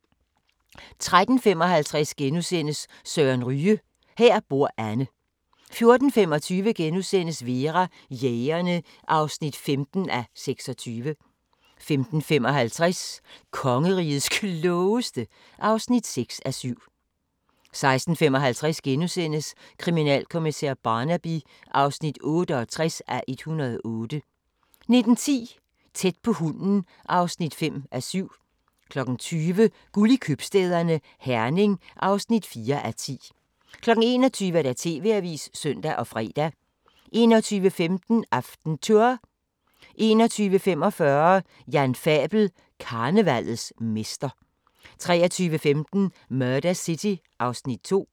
13:55: Søren Ryge: Her bor Anne * 14:25: Vera: Jægerne (15:26)* 15:55: Kongerigets Klogeste (6:7) 16:55: Kriminalkommissær Barnaby (68:108)* 19:10: Tæt på hunden (5:7) 20:00: Guld i købstæderne – Herning (4:10) 21:00: TV-avisen (søn og fre) 21:15: AftenTour 21:45: Jan Fabel: Karnevallets mester 23:15: Murder City (Afs. 2)